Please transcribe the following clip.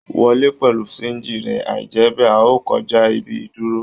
Wọ lè pẹlú sanji rẹ, aijẹbẹ́, a o kọjá ibi ìdúró.